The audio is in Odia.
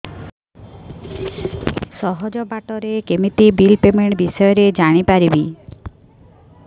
ସହଜ ବାଟ ରେ କେମିତି ବିଲ୍ ପେମେଣ୍ଟ ବିଷୟ ରେ ଜାଣି ପାରିବି